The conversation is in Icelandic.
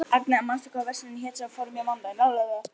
Agnea, manstu hvað verslunin hét sem við fórum í á mánudaginn?